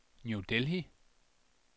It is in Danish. New Delhi